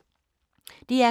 DR K